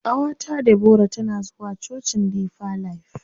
Ƙawata Debora tana zuwa cocin deeper life.